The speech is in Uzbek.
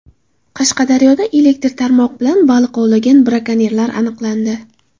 Qashqadaryoda elektr qarmoq bilan baliq ovlagan brakonyerlar aniqlandi.